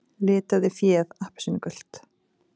Litaði féð appelsínugult